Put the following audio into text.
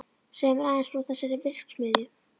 Segðu mér aðeins frá þessari verksmiðju.